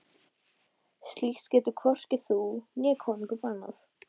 Slíkt getur hvorki þú né konungur bannað.